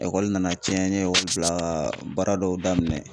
Ekɔli nana cɛn n ye ɔkɔli bila ka baara dɔw daminɛ